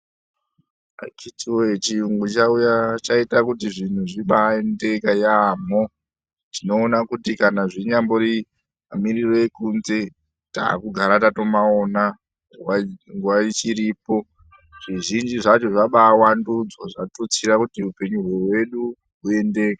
Akhiti voye chiyungu chauya chaita kuti zvinhu zvibaendeka yaamho. Tinoona kuti kana zvinyambori mamiriro ekunze takudara tatomaona. Nguva ichiripo zvizhinji zvacho zvabavandudzwa zvatutsira kuti hupenyu hwedu huendeke.